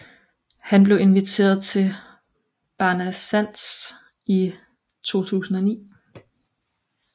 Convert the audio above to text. Han blev inviteret til Barnasants i 2009